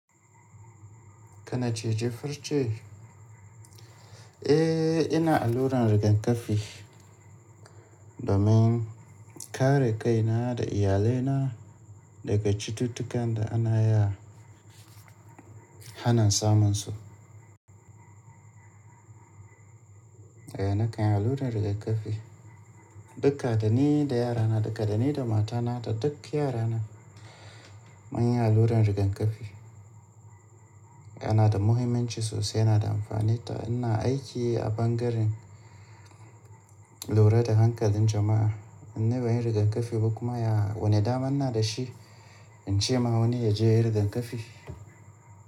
Kana cije farce? Eh! Ina alluran rigakafi domin kare kaina da iyalaina daga cututtukan da ana iya ana samunsu. Eh, na kan alluran rigakafi. Duka da ni da yarana, duka da ni da matana da duk yarana mun yi alluran rigakafi. Yana da muhimmanci sosai, yana da amfani ta. Ina aiki a bangaren lura da hankalin jama'a. Ni ban yi rigakafi ba kuma ya wane daman na da shi in ce ma wani ya je ya yi rigakafi.